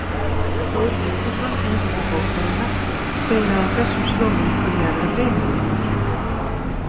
Þór Vigfússon höfundur bókarinnar segir að á þessum slóðum kunni að vera beinaleifar.